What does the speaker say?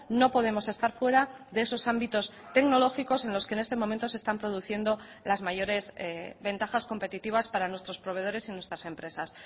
no podemos estar fuera de esos ámbitos tecnológicos en los que en este momento se están produciendo las mayores ventajas competitivas para nuestros proveedores y nuestras empresas